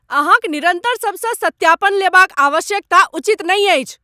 अहाँक निरन्तर सभसँ सत्यापन लेबाक आवश्यकता उचित नहि अछि।